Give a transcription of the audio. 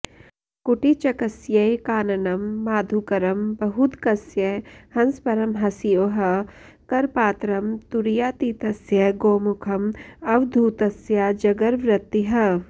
कुटीचकस्यैकान्नं माधुकरं बहूदकस्य हंसपरमहंसयोः करपात्रं तुरीयातीतस्य गोमुखं अवधूतस्याजगरवृत्तिः